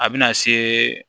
A bɛna se